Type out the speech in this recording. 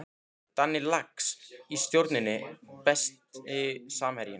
Danni Lax í Stjörnunni Besti samherjinn?